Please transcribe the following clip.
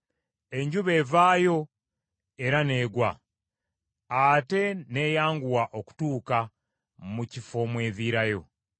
Enjuba evaayo era n’egwa, ate n’eyanguwa okutuuka mu kifo mw’eviirayo.